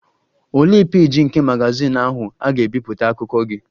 Olee peeji nke magazin ahụ a ga-ebipụta akụkọ gị?